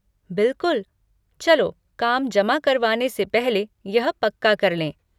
बिलकुल, चलो काम जमा करवाने से पहले यह पक्का कर लें।